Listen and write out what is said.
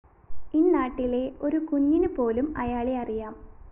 ഇന്നാട്ടിലെ ഒരു കുഞ്ഞിനുപോലും അയാളെ അറിയാം